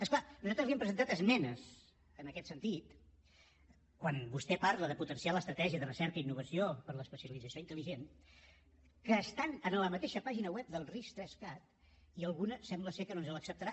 és clar nosaltres li hem presentat esmenes en aquest sentit quan vostè parla de potenciar l’estratègia de recerca i innovació per a l’especialització intel·ligent que estan a la mateixa pàgina web del ris3cat i alguna sembla que no ens l’acceptarà